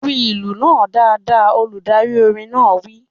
Lu ìlù náà dáadáa! Olùdarí orin náà wí